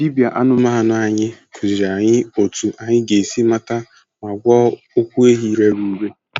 Dibịa anụmanụ anyị kụziiri anyị otú anyị ga-esi mata ma gwọọ ụkwụ ehi rere ure.